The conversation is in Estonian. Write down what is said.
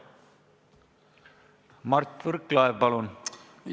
Mart Võrklaev, palun!